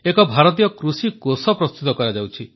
ଏକ ଭାରତୀୟ କୃଷି କୋଷ ପ୍ରସ୍ତୁତ କରାଯାଉଛି